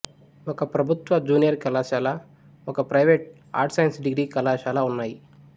ఒక ప్రభుత్వ జూనియర్ కళాశాల ఒక ప్రైవేటు ఆర్ట్స్సైన్స్ డిగ్రీ కళాశాల ఉన్నాయి